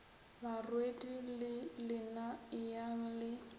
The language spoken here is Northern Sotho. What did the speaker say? barwedi le lena eyang le